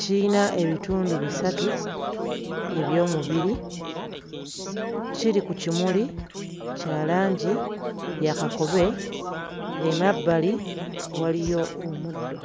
Kiyina ebitundu bisatu eby'omubiri. Kiri ku kimuli kya langi ya kakobe, emabbali waliyo omuddo.